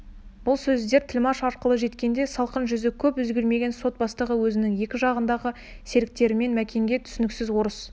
бұл сөздер тілмаш арқылы жеткенде салқын жүзі көп өзгермеген сот бастығы өзінің екі жағындағы серіктерімен мәкенге түсініксіз орыс